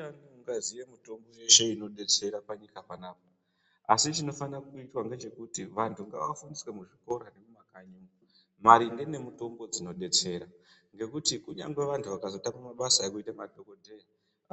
Ndiyani ungaziye mitombo yeshe inodetsera panyika panapa. Asi chinofane kuitwa ngechekuti vanhu ngavafundiswe muzvikora mumakanyi maringe nemutombo dzinodetsera. Ngekuti kunyangwe vantu vakazotama mabasa ekuita madhogodheya